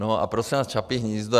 No a prosím vás, Čapí hnízdo.